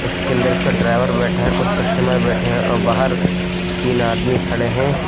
उसके अंदर उसका ड्राइवर बैठा है कुछ कस्टमर बैठे हैं और बाहर तीन आदमी खड़े हैं।